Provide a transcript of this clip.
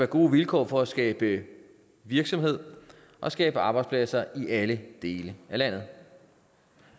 gode vilkår for skabe virksomhed og skabe arbejdspladser i alle dele af landet